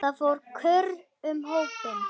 Það fór kurr um hópinn.